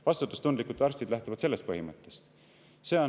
Vastutustundlikud arstid lähtuvad sellest põhimõttest.